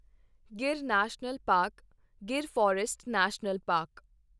Gir national park Gir forest national park